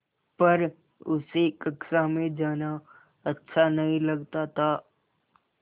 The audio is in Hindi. पर उसे कक्षा में जाना अच्छा नहीं लगता था